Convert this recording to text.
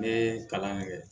Ne ye kalan kɛ